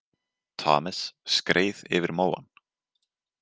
Thomas skreið yfir móann.